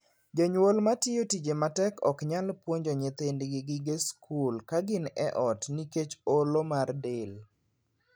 Jonyuol matiyo tije matek ok nyal puonjo nyithindgi gige skul ka gin e ot nikech olo mar del.